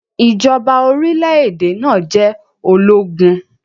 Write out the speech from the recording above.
Ijọba orilẹ-ede naa jẹ ologun.